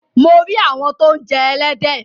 Mo rí àwọn tó ń jẹ ẹlẹ́dẹ̀.